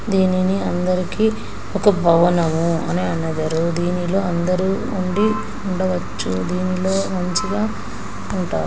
దీనిని అందరికీ ఒక భవనము అని అనెదరు దినిలో అందరూ ఉండి ఉండవచ్చు దీనిలో మంచిగా ఉంటారు.